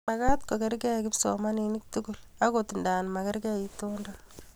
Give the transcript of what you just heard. Magat ko kargei kipsomanik tugul agot nda makargei itondo